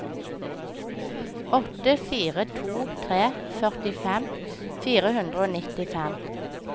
åtte fire to tre førtifem fire hundre og nittifem